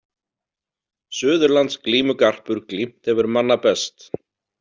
Suðurlands glímugarpur glímt hefur manna best.